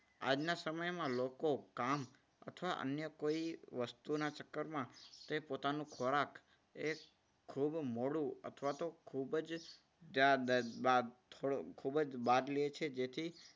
આજના સમયમાં લોકો કામ અથવા અન્ય કોઈ વસ્તુના ચક્કરમાં તે પોતાનો ખોરાક એ ખૂબ મોડું અથવા તો ખૂબ જ ત્યારબાદ ખૂબ જ બાદ લે છે. તેથી